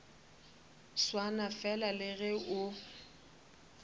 swana fela le ge o